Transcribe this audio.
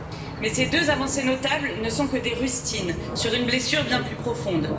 Mais ces deux avancées notables ne sont que des rustines sur une blessure bien plus profonde.